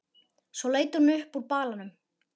Svo leit hún upp úr balanum.